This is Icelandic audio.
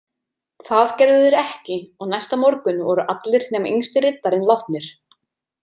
Það gerðu þeir ekki og næsta morgun voru allir nema yngsti riddarinn látnir.